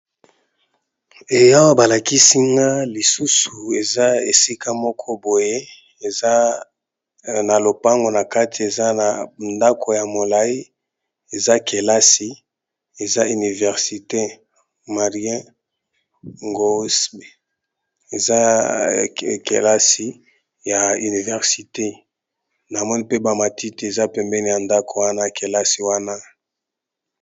Eawa balakisinga lisusu eza esika moko boye eza na lopango na kati eza na ndako ya molayi eza kelasi eza universite marien gosb eza kelasi ya universite na moni mpe ba matiti eza pembeni ya ndako wana kelasi wana.